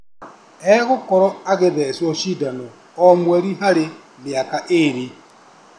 Egũkorwo agĩthecwo cindano o mweri harĩ mĩaka ĩrĩ